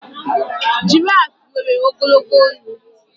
Girafu nwere ogologo olu